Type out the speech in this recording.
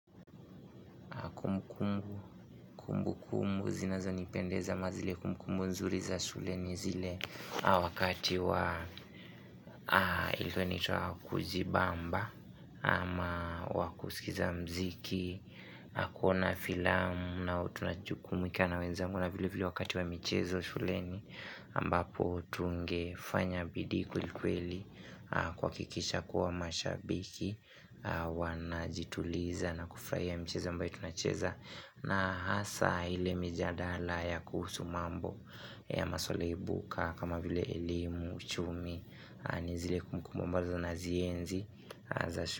Kumbu kumbu kumbu kumbu zinazo nipendeza mazile kumbu mzuri za shuleni zile wakati wa ilikuwa anaitwa kujibamba ama wa kusikiza mziki kuona filamu na tunajukumika na wenzangu na vile vile wakati wa michezo shuleni ambapo tungefanya bidii kwelikweli kuwakikisha kuwa mashabiki Wanajituliza na kufuraia michezo ambayo tunacheza na hasa hile mijadala ya kuhusu mambo ya maswale ibuka kama vile elimu uchumi ni zile kumbukumbu ambano na zienzi.